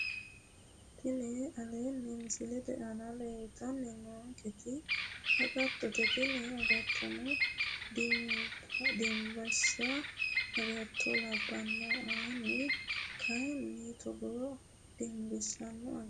Tini aleenni misilete aana leeltanni noonketi agattote tini agatto dimbissaa agatto labbanno ani kayinni togoota dimbissanno agatto aga bushate yaate